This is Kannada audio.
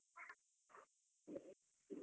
.